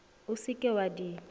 o se ke wa di